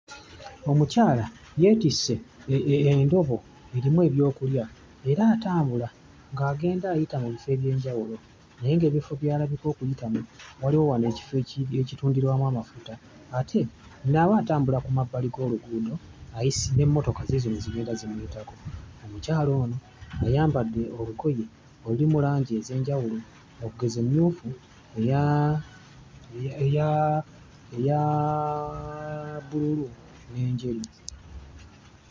Omukyala yeetisse endobo erimu ebyokulya era atambula ng'agenda ayita mu bifo eby'enjawulo, naye ng'ebifo by'alabika okuyitamu waliwo wano ekifo eki ekitundirwamu amafuta ate nawo atambula ku mabbali g'oluguudo ayisa n'emmotoka ziizino zigenda zimuyitako. Omukyala ono ayambadde olugoye olulimu langi ez'enjawulo okugeza emmyufu, eya eya eya bbululu n'enjeru.